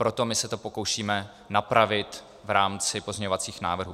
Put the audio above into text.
Proto my se to pokoušíme napravit v rámci pozměňovacích návrhů.